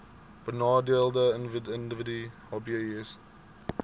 benadeelde individue hbis